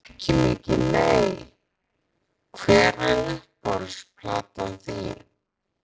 Ekki mikið nei Hver er uppáhalds platan þín?